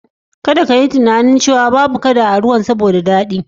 Kadda ka yi tunani cewa dan ruwan yana natsu ba kaduna a ciki.